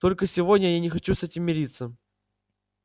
только сегодня я не хочу с этим мириться